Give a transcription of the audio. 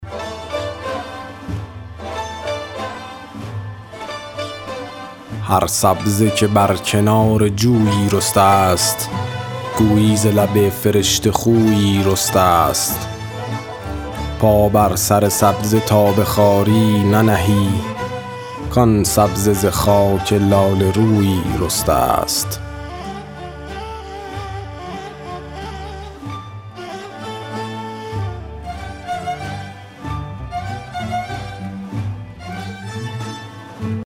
هر سبزه که بر کنار جویی رسته ست گویی ز لب فرشته خویی رسته ست پا بر سر سبزه تا به خواری ننهی کآن سبزه ز خاک لاله رویی رسته ست